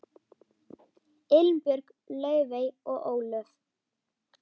Elín Björk, Laufey og Ólöf.